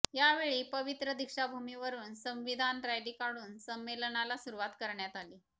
यावेळी पवित्र दीक्षाभूमीवरून संविधान रॅली काढून संमेलनाला सुरुवात करण्यात आली